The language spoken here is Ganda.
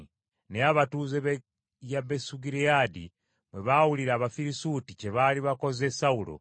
Naye abatuuze b’e Yabesugireyaadi bwe baawulira Abafirisuuti kye baali bakoze Sawulo,